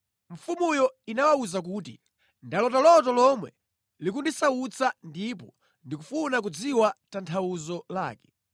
mfumuyo inawawuza kuti, “Ndalota loto lomwe likundisautsa ndipo ndikufuna kudziwa tanthauzo lake.”